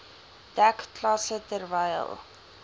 dek klasse terwyl